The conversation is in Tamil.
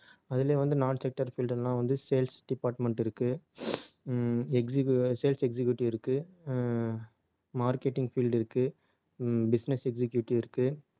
அதுலயும் வந்து non sector field எல்லாம் வந்து sales department இருக்கு உம் execu~ sales executive இருக்கு அஹ் marketing field இருக்கு உம் business executive இருக்கு